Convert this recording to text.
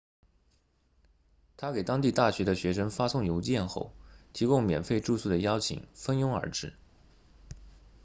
他给当地大学的学生发送邮件后提供免费住宿的邀请蜂拥而至